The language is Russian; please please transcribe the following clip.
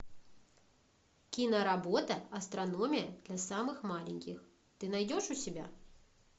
киноработа астрономия для самых маленьких ты найдешь у себя